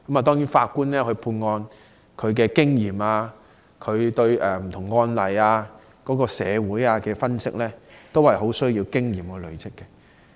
當然，法官判案的經驗、對不同案例及社會的分析能力，都是很需要經驗累積而成。